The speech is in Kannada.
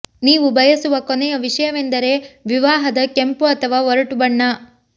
ನೀವು ಬಯಸುವ ಕೊನೆಯ ವಿಷಯವೆಂದರೆ ವಿವಾಹದ ಕೆಂಪು ಅಥವಾ ಒರಟು ಬಣ್ಣ